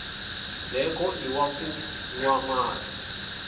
ndzheko iwa ku nwa mati